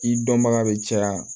I dɔnbaga bɛ caya